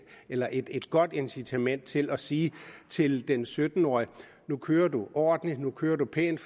eller et godt incitament til at sige til den sytten årige nu kører du ordentligt nu kører du pænt